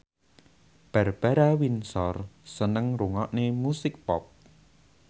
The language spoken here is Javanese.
Barbara Windsor seneng ngrungokne musik pop